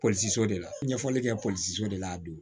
de la ɲɛfɔli kɛliw de la a don